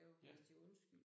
Ja